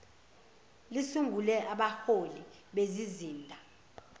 lisungule abahloli bezizinda